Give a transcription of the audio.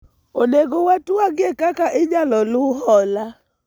onego watwagie kaka inyalo luw hola